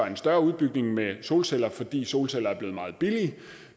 en større udbygning med solceller fordi solceller er blevet meget billige